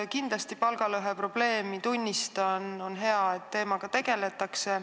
Kindlasti ma tunnistan palgalõhe probleemi, on hea, et teemaga tegeletakse.